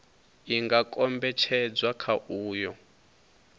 i nga kombetshedzwa kha uyo